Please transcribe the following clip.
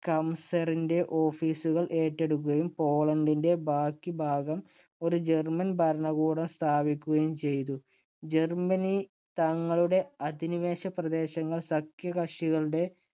കംസറിന്‍റെ office കൾ ഏറ്റെടുക്കുകയും പോളണ്ടിന്‍റെ ബാക്കി ഭാഗം ഒരു ജർമ്മൻ ഭരണകൂടം സ്ഥാപിക്കുകയും ചെയ്തു. ജർമ്മനി തങ്ങളുടെ അധിനിവേശ പ്രദേശങ്ങള്‍ സഖ്യകക്ഷികളുടെ